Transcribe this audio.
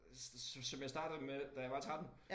Som som jeg startede med da jeg var 13